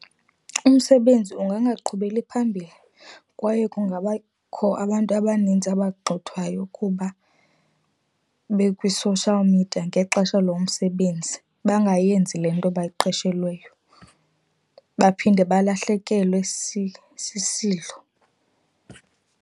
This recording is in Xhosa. Umsebenzi ungangaqhubeli phambili kwaye kungabakho abantu abaninzi abagqxothwayo kuba bekwi-social media ngexesha lomsebenzi, bangayenzi le nto bayiqeshelweyo. Baphinde balahlekelwe sisidlo.